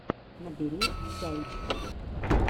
набери сяйч